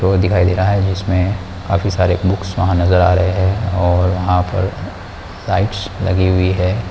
वो दिखाई दे रहा है जिसमे काफी सारे बुक्स वहाँ नजर आ रहे हैं और वहाँ पर लाइट्स लगी हुई है।